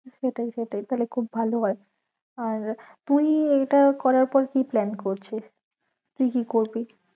সেটাই সেটাই তাহলে খুব ভালো হয়ে আর তুই এইটা করার পর কি plan করছিস তুই কি করবি?